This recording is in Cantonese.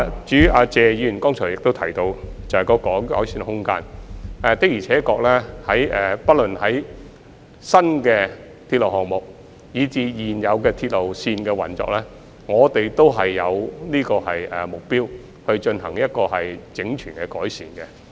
至於謝議員剛才亦提到有改善的空間，的而且確，不論是新鐵路項目，還是現有鐵路線的運作，我們均致力進行整全的改善。